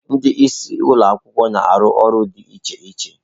Ndị isi ụlọ akwụkwọ na-arụ ọrụ dị iche iche